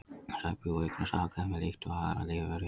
Sæbjúgu eignast afkvæmi líkt og aðrar lífverur jarðar.